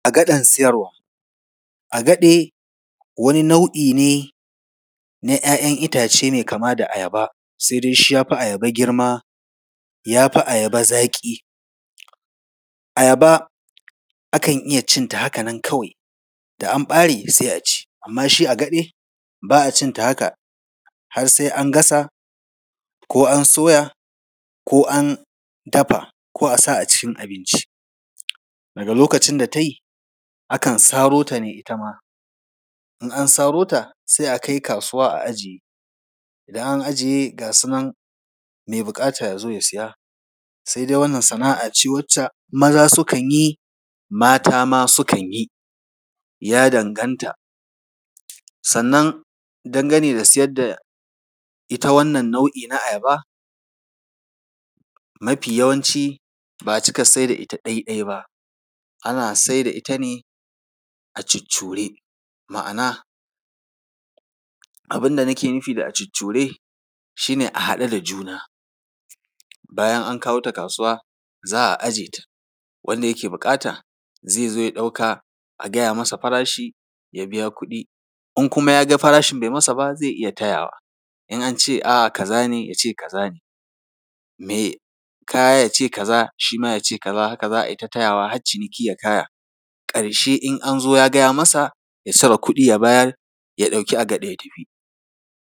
Agaɗen siyarwa. Agaɗe, wani nau’i ne, na ‘ya’yan itace mai kama da ayaba. Sai dai shi, ya fi ayaba girma, ya fi ayaba zaƙi. Ayaba, akan iya cinta haka nan kawai, da an ɓare, sai a ci. Amma shi agaɗe, ba a cin ta haka. Har sai an gasa ko an soya ko an dafa ko a sa a cikin abinci. Daga lokacin da ta yi, akan saro ta ne ita ma. In an saro ta, sai a kai kasuwa a ajiye. Idan an ajiye, ga su nan, mai buƙata ya zo, ya siya. Sai dai wannan sana’a ce wacce maza sukan yi, mata ma sukan yi, ya danganta. Sannan dangane da siyar da ita wannan nau’i na ayaba, mafi yawanci, ba a cika siyar da ita ɗaiɗai ba, ana siyar da ita ne a cuccure. Ma’ana, abin da nake nufi a ‘cuccure’, shi ne a haɗe da juna. Bayan an kawo ta kasuwa, za a ajiye ta, wanda yake buƙata, zai zo ya ɗauka, a gaya masa farashi, ya biya kuɗi. In kuma ya ga farashin bai masa ba, zai iya tayawa. In an ce a’a, kaza ne, ya ce kaza ne. Mai kaya ya ce kaza, shi ma ya ce kaza, haka za a yi ta tayawa, har ciniki ya kaya. Ƙarshe in an zo ya ga ya masa, ya cire kuɗi ya bayar, ya ɗauki agaɗe, ya tafi.